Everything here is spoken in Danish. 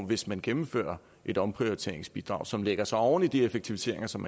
hvis man gennemfører et omprioriteringsbidrag som lægger sig oven i de effektiviseringer som